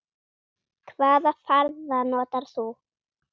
Hvaða farða notar þú?